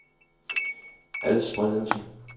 adspredelse